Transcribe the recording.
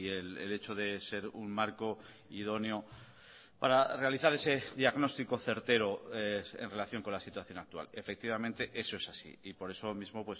el hecho de ser un marco idóneo para realizar ese diagnóstico certero en relación con la situación actual efectivamente eso es así y por eso mismo